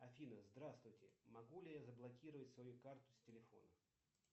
афина здравствуйте могу ли я заблокировать свою карту с телефона